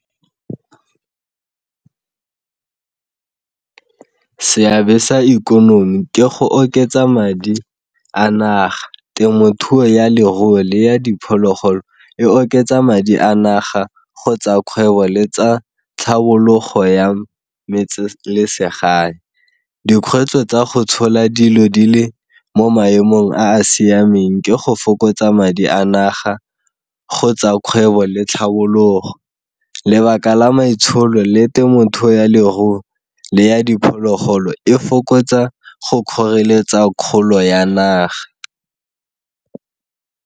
Seabe sa ikonomi ke go oketsa madi a naga, temothuo ya leruo, le ya diphologolo e oketsa madi a naga kgotsa kgwebo le tsa tlhabologo ya metselesegae. Dikgwetlho tsa go tshola dilo di le mo maemong a a siameng ke go fokotsa madi a naga kgotsa kgwebo le tlhabologo. Lebaka la maitsholo le temothuo ya leruo le ya diphologolo e fokotsa go kgoreletsa kgolo ya naga.